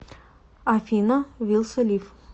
афина вилса лив